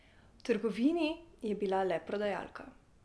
V trgovini je bila le prodajalka.